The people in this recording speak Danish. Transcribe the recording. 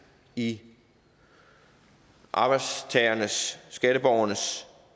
i arbejdstagernes og skatteborgernes